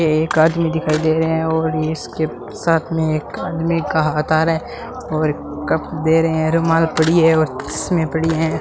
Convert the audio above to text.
एक आदमी दिखाई दे रहे हैं और इसके साथ में एक आदमी का हाथ आ रहा है और कप दे रहे हैं रुमाल पड़ी है और में चश्मे पड़ी हैं।